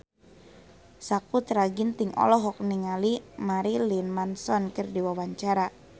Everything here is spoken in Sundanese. Sakutra Ginting olohok ningali Marilyn Manson keur diwawancara